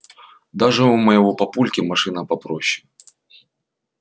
даже у моего папульки машина попроще